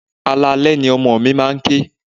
Alaalẹ́ ni ọmọ mi máa ń ké.